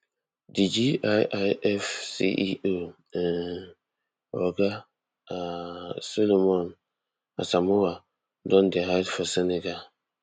di giif ceo um oga um solomon asamoah don dey hide for senegal